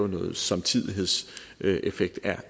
en samtidighedseffekt at